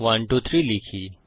123 লিখি